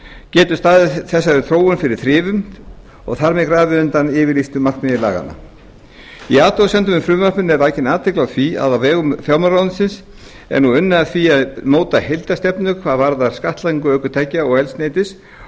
getur staðið þessari þróun fyrir þrifum og þar með grafið undan yfirlýstu markmiði laganna í athugasemdum með frumvarpinu er vakin athygli á því að á vegum fjármálaráðuneytis er nú unnið að því að móta heildarstefnu hvað varðar skattlagningu ökutækja og eldsneytis